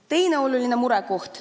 Teine oluline murekoht.